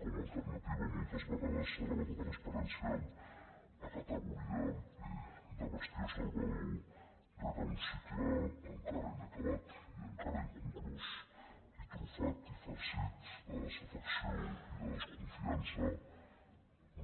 com a alternativa moltes vegades s’ha elevat la transparència a categoria de bastió salvador rere un cicle encara inacabat i encara inconclús i trufat i farcit de desafecció i de desconfiança